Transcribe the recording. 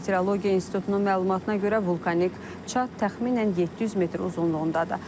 Meteorologiya İnstitutunun məlumatına görə vulkanik çat təxminən 700 metr uzunluğundadır.